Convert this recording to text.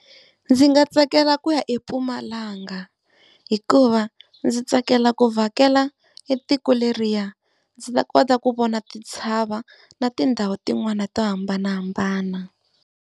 Ndzi nga tsakela ku ya eMpumalanga hikuva ndzi tsakela ku vhakela etiko leriya. Ndzi ta kota ku vona titshava na tindhawu tin'wani to hambanahambana.